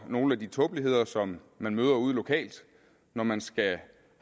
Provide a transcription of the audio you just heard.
nogle af de tåbeligheder som man møder ude lokalt når man skal